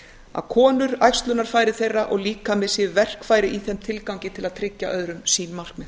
að konur æxlunarfæri þeirra og líkami séu verkfæri í þeim tilgangi til að tryggja öðrum sín markmið